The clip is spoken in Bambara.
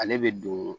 Ale bɛ don